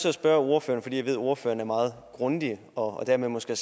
at spørge ordføreren fordi jeg ved at ordføreren er meget grundig og dermed måske